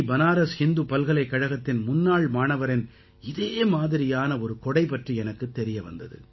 பனாரஸ் ஹிந்து பல்கலைக்கழகத்தின் முன்னாள் மாணவரின் இதே மாதிரியான ஒரு கொடை பற்றி எனக்குத் தெரிய வந்தது